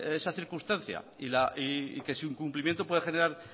esa circunstancia y que su incumplimiento puede generar